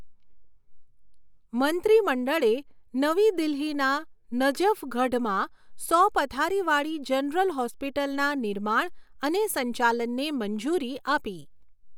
મંત્રીમંડળે નવી દિલ્હીના નજફગઢમાં સો પથારીવાળી જનરલ હોસ્પિટલના નિર્માણ અને સંચાલનને મંજૂરી આપી